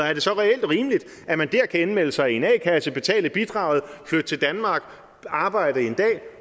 er det så reelt rimeligt at man dér kan indmelde sig i en a kasse betale bidraget flytte til danmark arbejde en dag